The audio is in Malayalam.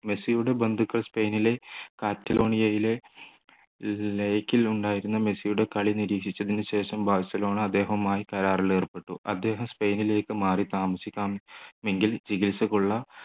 മെസ്സിയുടെ ബന്ധുക്കൾ സ്പെയിനിലെ കാറ്റലോണിയയിലെ lake ൽ ഉണ്ടായിരുന്ന മെസ്സിയുടെ കളി നിരീക്ഷിച്ചതിനു ശേഷം ബാഴ്സലോണ അദ്ദേഹവുമായി കരാറിൽ ഏർപ്പെട്ടു അദ്ദേഹം സ്പെയിനിലേക്ക് മാറി താമസിക്കാം എങ്കിൽ ചികിത്സക്കുള്ള